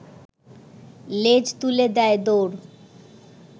লেজ তুলে দেয় দৌড়